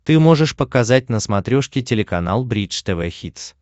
ты можешь показать на смотрешке телеканал бридж тв хитс